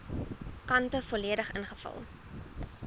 kante volledig ingevul